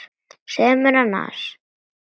Segðu mér annars.